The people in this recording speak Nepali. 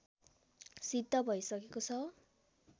सिद्ध भइसकेको छ